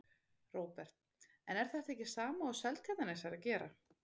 Róbert: En er þetta ekki sama og Seltjarnarnes er að gera?